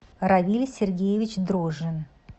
равиль сергеевич дрожжин